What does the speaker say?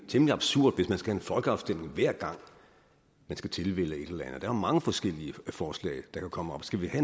temmelig absurd hvis man skal have en folkeafstemning hver gang man skal tilvælge et eller er jo mange forskellige forslag der kan komme op skal vi så